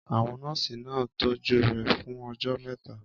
Àwọn nọ́ọ̀sì náà tọ́jú rẹ̀ fún ọjọ́ mẹ́ta.